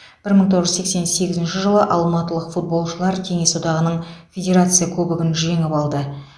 бір мың тоғыз жүз сексен сегізінші жылы алматылық футболшылар кеңес одағының федерация кубогын жеңіп алды